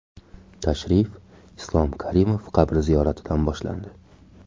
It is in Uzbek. Tashrif Islom Karimov qabri ziyoratidan boshlandi.